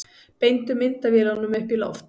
Beindu myndavélunum upp í loft